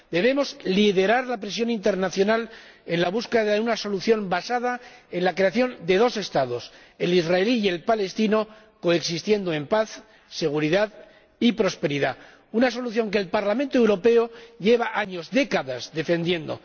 Debemos liderar la presión internacional en la búsqueda de una solución basada en la creación de dos Estados, el israelí y el palestino, coexistiendo en paz, seguridad y prosperidad. Una solución que el Parlamento Europeo lleva años, décadas, defendiendo.